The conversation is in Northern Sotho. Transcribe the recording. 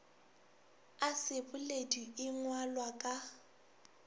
a seboledi e ngwalwa ka